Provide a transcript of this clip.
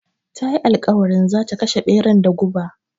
Ta yi alƙawarin zata kashe ɓeran da guba